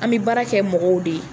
An bɛ baara kɛ mɔgɔw de ye